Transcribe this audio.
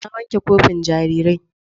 Na wanke kofin jarirai.